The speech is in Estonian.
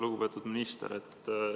Lugupeetud minister!